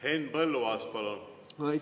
Henn Põlluaas, palun!